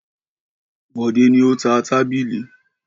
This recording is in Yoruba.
Bọ̀dé ni ó ta tábìlì.